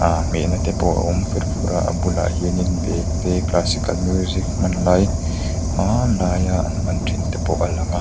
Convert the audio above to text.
aaa hmehna te pawh a awm fer fur a a bulah hianin bag te classical music hman lai hmanlaia an hman thin te pawh a lang a.